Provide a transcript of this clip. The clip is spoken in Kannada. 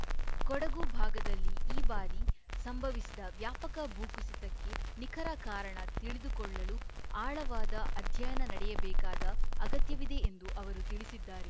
ಕೊಡಗು ಭಾಗದಲ್ಲಿ ಈ ಬಾರಿ ಸಂಭವಿಸಿದ ವ್ಯಾಪಕ ಭೂಕುಸಿತಕ್ಕೆ ನಿಖರ ಕಾರಣ ತಿಳಿದುಕೊಳ್ಳಲು ಆಳವಾದ ಅಧ್ಯಯನ ನಡೆಯಬೇಕಾದ ಅಗತ್ಯವಿದೆ ಎಂದು ಅವರು ತಿಳಿಸಿದ್ದಾರೆ